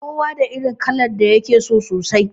Kowa da irin kalar da yake so sosai